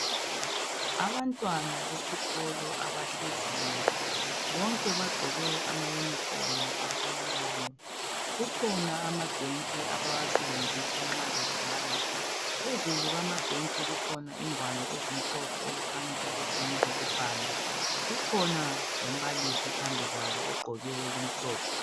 Abantwana besikolo abahleziyo bonke bagqoke ama uniform afananayo Kukhona amabhentshi abawasebenzisa nxa bebhala Phezulu kwamabhentshi kukhona ingwalo ezimhlophe okukhanya ukuthi ngezokubhala Kukhona lombalisi phambi kwabo ogqoke okumhlophe